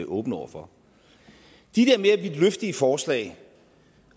åben over for de der mere vidtløftige forslag